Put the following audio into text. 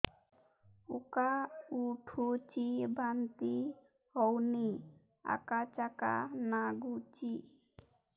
ଉକା ଉଠୁଚି ବାନ୍ତି ହଉନି ଆକାଚାକା ନାଗୁଚି